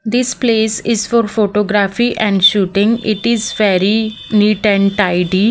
This place is for photography and shooting It is very neat and tidy.